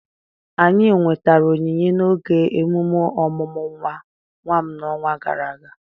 anyị nwetara onyinye n'oge emume ọmụmụ nwa m n'ọnwa gara aga